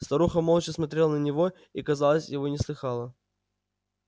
старуха молча смотрела на него и казалось его не слыхала